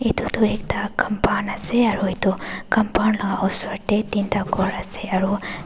edu tu ekta compound ase aro edu compound laka osor tae teenta khor ase aro.